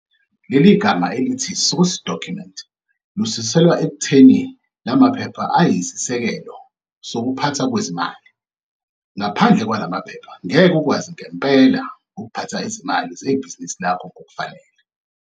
Leligama elithi - source document, lisuselwa ekutheni lamaphepha ayisisekelo sokuphathwa kwezimali. Ngaphandle kwalamaphepha NGEKE UKWAZI NGEMPELA ukuphatha izimali zebhizinisi lakho ngokufanele..